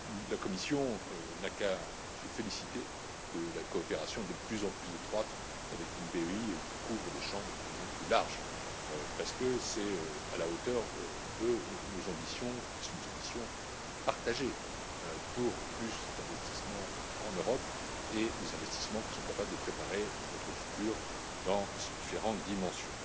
La Commission n'a qu'à se féliciter de la coopération de plus en plus étroite avec une BEI qui couvre des champs de plus en plus larges, parce qu'elle est à la hauteur de nos ambitions, qui sont des ambitions partagées, pour plus d'investissement en Europe et des investissements qui sont capables de préparer notre futur dans ses différentes dimensions.